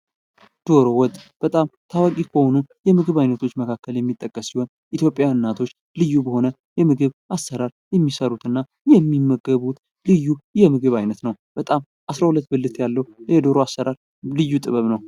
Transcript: ዶሮ ወጥ በጣም ታዋቂ ከሆኑ የምግብ አይነቶች መካከል የሚጠቀስ ሲሆን ኢትዮጵያውያን እናቶች ልዩ በሆነ የምግብ አሠራር የሚሰሩትና የሚመገቡት ልዩ የምግብ አይነት ነው በጣም 12 ያለው የዶሮ አሰራር ልዩ ጥበብ ነው።